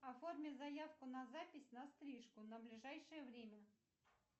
оформить заявку на запись на стрижку на ближайшее время